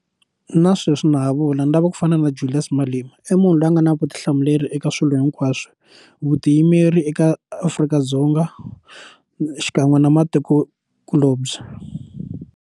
Na sweswi na ha vula ni lava ku fana na Julias Malema i munhu loyi a nga na vutihlamuleri eka swilo hinkwaswo vutiyimeri eka Afrika-Dzonga xikan'we na matikokulobye.